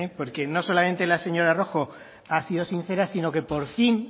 porque no solamente la señor rojo ha sido sincera sino que por fin